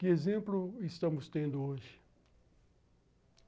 Que exemplo estamos tendo hoje?